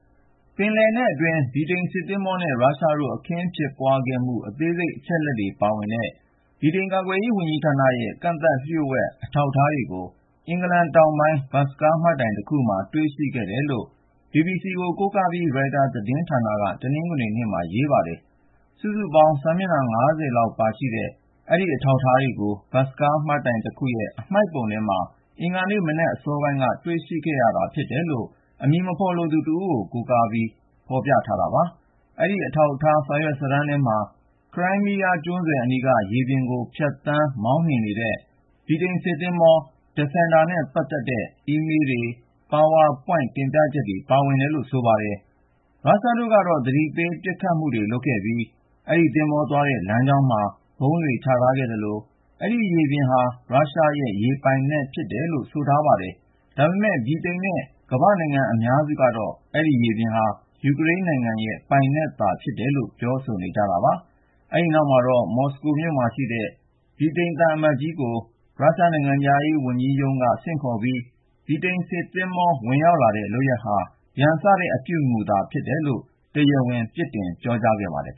ပင်လယ်နက်အတွင်း ဗြိတိန်စစ်သင်္ဘောနဲ့ ရုရှားတို့ အခင်းဖြစ်ပွားခဲ့မှု အသေးစိတ် အချက်အလက်တွေ ပါဝင်တဲ့ ဗြိတိန် ကာကွယ်ရေးဝန်ကြီးဌာနရဲ့ ကန့်သတ်လျှို့ဝှက် အထောက်အထားတွေကို အင်္ဂလန်တောင်ပိုင်း ဘတ်စ်ကားမှတ်တိုင်တခုမှာ တွေ့ရှိခဲ့တယ်လို့ BBC ကို ကိုးကားပြီး ရိုက်တာသတင်းဌာနက တနင်္ဂနွေနေ့မှာ ရေးသားပါတယ်။ စုစုပေါင်း စာမျက်နှာ ၅၀ ရှိတဲ့ အဲဒီအထောက်အထားတွေကို ဘတ်စ်ကားမှတ်တိုင်တခုရဲ့ အမှိုက်ပုံထဲမှာ အင်္ဂါနေ့မနက်အစောပိုင်းက တွေ့ရှိခဲ့ရတာ ဖြစ်တယ်လို့ အမည်မဖော်လိုသူတဦးကို ကိုးကား ဖော်ပြထားပါတယ်။ အဲဒီအထောက်အထား စာရွက်စာတမ်းထဲမှာ ခရိုင်းမီးယားကျွန်းဆွယ်အနီးက ရေပြင်ကို ဖြတ်သန်းမောင်းနှင်နေတဲ့ ဗြိတိန်စစ်သင်္ဘော DEFENDER နဲ့ပတ်သက်တဲ့ အီးမေးလ်တွေ၊ ပါဝါပွိုင့် တင်ပြချက်တွေ ပါဝင်တယ်လို့ ဆိုပါတယ်။ ရုရှားတို့ကတော့ သတိပေး ပစ်ခတ်မှုတွေ လုပ်ခဲ့ပြီး အဲဒီသင်္ဘောသွားတဲ့ လမ်းကြောင်းမှာ ဗုံးတွေချထားခဲ့သလို အဲဒီရေပြင်ဟာ ရုရှားရဲ့ ရေပြင်ပိုင်နက်လို့ ဆိုထားပါတယ်။ ဒါပေမယ့် ဗြိတိန်နဲ့ ကမ္ဘာ့နိုင်ငံ အများစုကတော့ အဲဒီရေပြင်ဟာ ယူကရိန်းနိုင်ငံရဲ့ ပိုင်နက်လို့သာ ပြောဆိုနေကြတာပါ။ အဲဒီနောက်မှာတော့ မော်စကိုမြို့မှာရှိတဲ့ ဗြိတိသျှသံအမတ်ကြီးကို ရုရှားနိုင်ငံခြားရေးရုံးက ဆင့်ခေါ်ပြီး ဗြိတိန်စစ်သင်္ဘော ဝင်လာတဲ့လုပ်ရပ်ဟာ ရန်စတဲ့အပြုအမူဖြစ်တယ်လို့ တရားဝင် အပြစ်တင် ပြောကြားခဲ့ပါတယ်